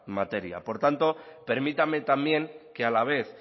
materia por tanto permítanme también que a la vez